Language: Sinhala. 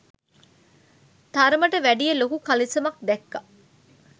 තරමට වැඩිය ලොකු කලිසමක් දැක්කා